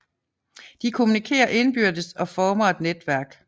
De kommunikerer indbyrdes og former et netværk